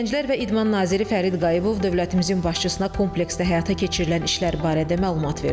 Gənclər və İdman naziri Fərid Qayıbov dövlətimizin başçısına kompleksdə həyata keçirilən işlər barədə məlumat verdi.